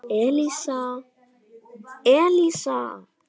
Elísa, Elísa!